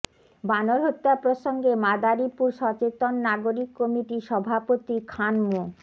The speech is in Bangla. বানর হত্যা প্রসঙ্গে মাদারীপুর সচেতন নাগরিক কমিটির সভাপতি খান মো